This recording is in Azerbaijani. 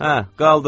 Hə, qaldırın.